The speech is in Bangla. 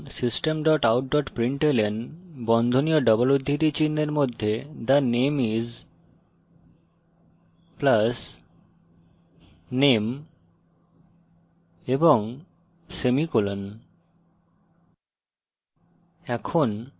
পরের line লিখুন system dot out dot println বন্ধনী ও double উদ্ধৃতি চিনহের মধ্যে the name is + name এবং semicolon